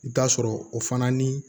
I bi taa sɔrɔ o fana ni